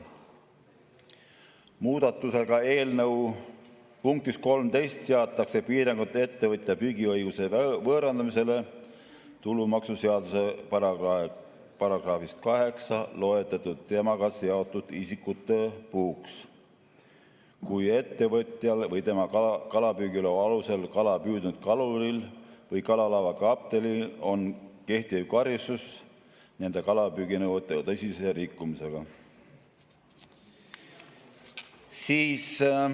Muudatusega eelnõu punktis 13 seatakse piirangud ettevõtja püügiõiguse võõrandamisele tulumaksuseaduse §‑s 8 loetletud temaga seotud isikutele puhuks, kui ettevõtjal või tema kalapüügiloa alusel kala püüdnud kaluril või kalalaeva kaptenil on kehtiv karistus nende kalapüüginõuete tõsise rikkumisega.